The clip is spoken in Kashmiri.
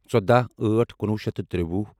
ژوداہ أٹھ کُنوُہ شیٚتھ تہٕ ترٛوُہ